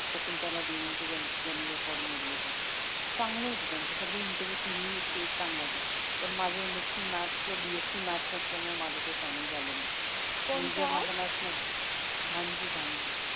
शकुंतला देवीचं ज्यांनी रेकॉर्ड मोडलं ते तर चांगलं होत त्यांचं सगळे तिन्ही इंटरव्हिव्ह चांगले होते पण माझं एम एस्सी मॅथ्स किंवा बी एस्सी मॅथ्स नसल्यामुळं माझं काही फायनल झालं नाही बांजू, बांजू